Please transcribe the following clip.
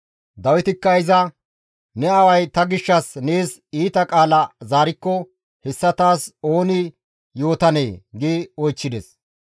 Dawitikka iza, «Ne aaway ta gishshas nees iita qaala zaarikko hessa taas ooni yootanee?» gi oychchides.